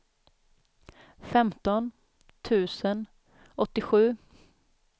femton tusen åttiosju